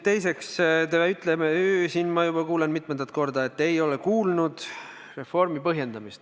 Teiseks, ma kuulen siin mitmendat korda, et te ei ole kuulnud reformi põhjendamist.